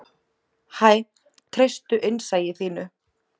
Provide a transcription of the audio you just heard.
Hæ, treystu innsæi þínu.